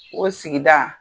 O sigi da